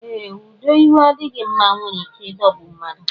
Ee, ụdọ igwe adịghị mma nwere ike idogbu mmadụ